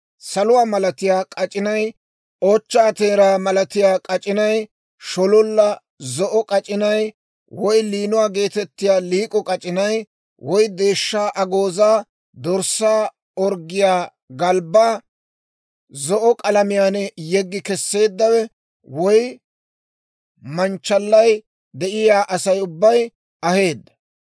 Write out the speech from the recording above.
Saluwaa malatiyaa k'ac'inay, ochchaa teeraa malatiyaa k'ac'inay, shololla zo'o k'ac'inay, woy liinuwaa geetettiyaa liik'o k'ac'inay, woy deeshshaa agoozaa, dorssaa orggiyaa galbbaa zo'o k'alamiyaan yeggi keseeddawe, woy manchchalay de'iyaa Asay ubbay aheedda.